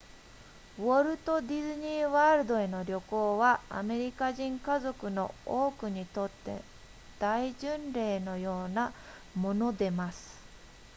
ウォルトディズニーワールドへの旅行はアメリカ人家族の多くにとって大巡礼のようなものでます